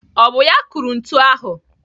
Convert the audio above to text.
Ọ bụ ya kụrụ ntu ahụ?